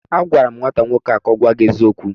Agwara m nwata nwoke ahụ ka o gwa gi eziokwu!